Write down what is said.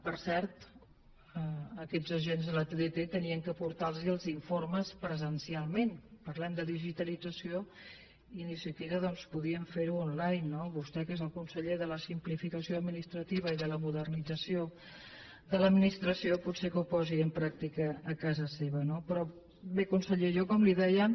per cert aquests agents de la tdt havien de portar los els informes presencialment parlem de digitalització i ni tan sols doncs podien fer ho online no vostè que és el conseller de la simplificació administrativa i de la modernització de l’administració potser que ho posi en pràctica a casa seva no però bé conseller jo com li deia